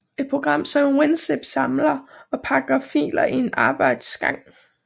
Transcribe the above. Et program som WinZip samler og pakker filer i en arbejdsgang